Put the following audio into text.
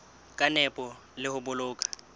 ka nepo le ho boloka